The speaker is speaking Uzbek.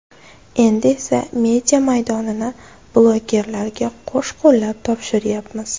Endi esa media maydonini blogerlarga qo‘sh-qo‘llab topshiryapmiz.